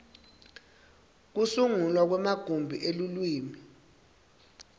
kusungulwa kwemagumbi elulwimi